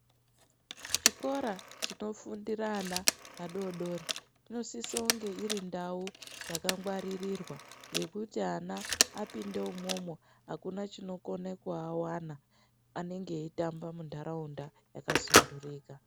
Chikora chinofundira ana adoodori, inosisa kunge iri ndau yakangwaririrwa yekuti ana apinde umwomwo akuna chinokone kuawana anenge eitamba munharaunda yakasunhurika.